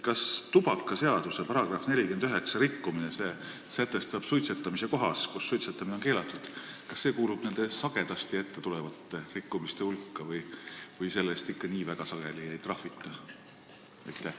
Kas tubakaseaduse § 49 rikkumine – see käsitleb suitsetamist kohas, kus suitsetamine on keelatud – kuulub nende tihti ettetulevate rikkumiste hulka või selle eest ikka nii väga sageli ei trahvita?